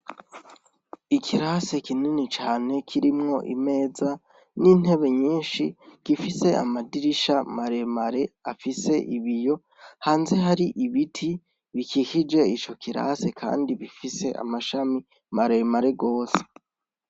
Ikirase kinini cane kirimwo imeza n'intebe nyinshi gifise amadirisha maremare afise ibiyo hanze hari ibiti bikikije ico kirase, kandi bifise amashami maremare rwose.